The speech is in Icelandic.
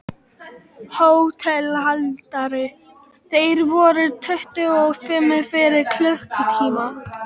HÓTELHALDARI: Þeir voru tuttugu og fimm fyrir klukkutíma.